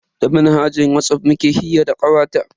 Ta manhajar Whatsapp muke hira da kawata.